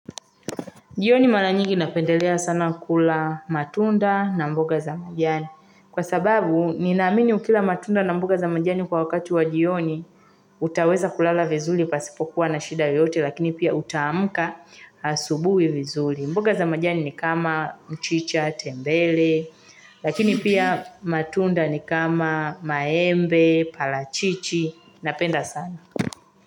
Jioni mala nyigi napendelea sana kula matunda na mboga za majani. Kwa sababu, ninamini ukila matunda na mboga za majani kwa wakati wa jioni, utaweza kulala vizuri pasipokuwa na shida yoyote, lakini pia utaamuka asubui vizuli. Mboga za majani ni kama mchicha, tembele, lakini pia matunda ni kama maembe, palachichi, napenda sana.